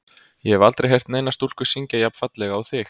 Ég hef aldrei heyrt neina stúlku syngja jafn fallega og þig.